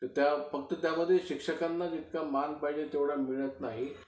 फक्त त्यामध्ये शिक्षकांना जितका मान पाहिजे तितका मिळत नाही.